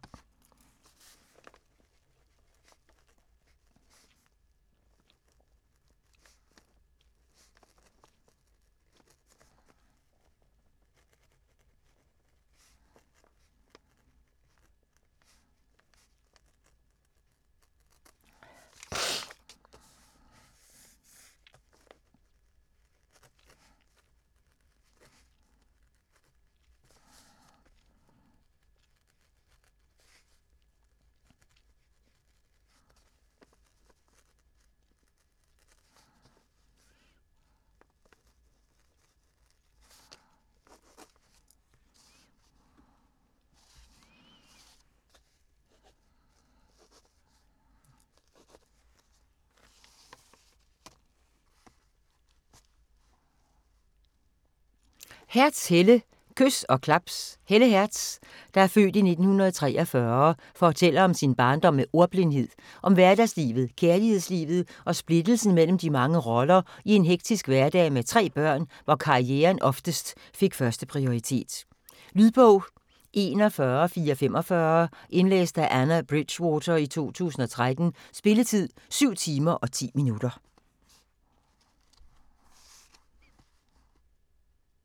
Hertz, Helle: Kys og klaps Helle Hertz (f. 1943) fortæller om sin barndom med ordblindhed, om hverdagslivet, kærlighedslivet og splittelsen imellem de mange roller i en hektisk hverdag med tre børn, hvor karrieren oftest fik første prioritet. Lydbog 41445 Indlæst af Anna Bridgwater, 2013. Spilletid: 7 timer, 10 minutter.